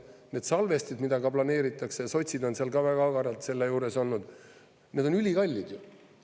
Need salvestid, mida planeeritakse, sotsid on seal ka väga agaralt selle juures olnud, need on ülikallid ju.